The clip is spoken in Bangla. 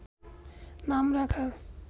নাম রাখা